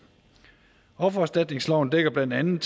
offererstatningsloven dækker blandt andet